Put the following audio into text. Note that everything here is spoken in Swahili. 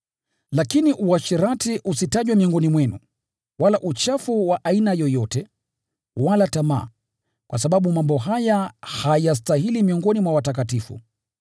Lakini uasherati, usitajwe miongoni mwenu, wala uchafu wa aina yoyote, wala tamaa, kwa sababu mambo haya hayastahili miongoni mwa watakatifu.